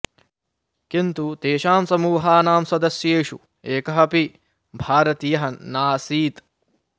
किन्तु तेषां समूहानां सदस्येषु एकः अपि भारतीयः नासीत्